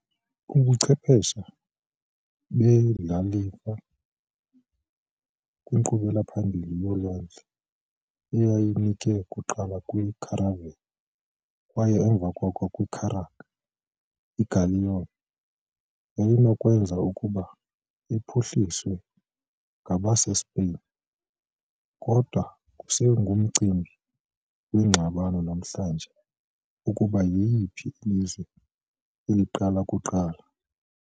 Ubuchwephesha bendlalifa kwinkqubela phambili yolwandle eyayinike kuqala kwi- caravel kwaye emva koko kwi- carrack, i-galleon yayinokwenzeka ukuba iphuhliswe ngabaseSpain, kodwa kusengumcimbi wengxabano namhlanje ukuba yiyiphi ilizwe elidala kuqala.